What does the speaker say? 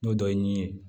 N'o dɔ ye min ye